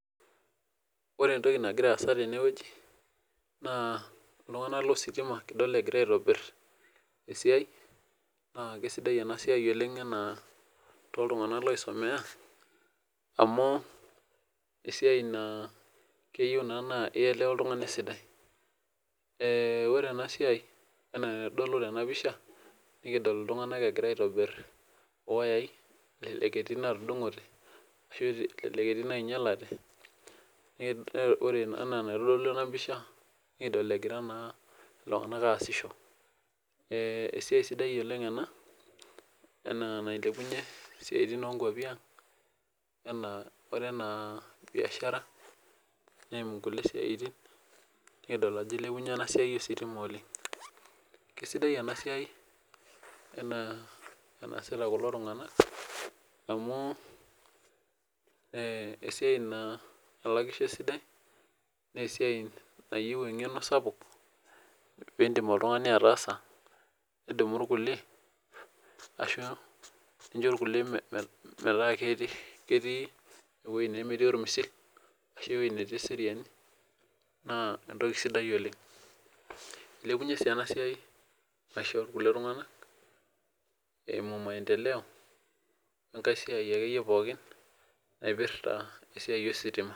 Wore entoki nakira aasa tene wueji, naa iltunganak lositima kidol ekira aitobirr esiai, naa kaisidai ena siai oleng' enaa tooltunganak oisumia, amu esiai naa keyieu naa naa ielewa oltungani esidai. Wore ena siai enaa enaitodolu tena pisha, nikidol iltunganak ekira aitobirr iwuyai, elelek etii inaatudungote, ashu elelek etii inainyialate. Wore enaa enaitodolu ena pisha, nikidol ekira naa iltunganak aasisho. Esiai sidai oleng' ena nilepunyie isiatin oonkuapi ang', wore enaa biashara, neimu kulie siaitin, nikidol ajo ilepunyie ena siai ositima oleng'. Kesidai enasiai enaa enaasita kulo tunganak, amu esiai naa elakisho esidai, naa esiai nayieu engeno sapuk, piindim oltungani ataasa, nidumu irkulie ashu injo irkulie metaa ketii ewoji nemetii ormisil ashu ewoji natii eseriani. Naa entoki sidai oleng'. Ilepunyie sii ena siai, maisha okulie tunganak, eimu maendeleo enkae siai akeyie pookin , naipirta esiai ositima.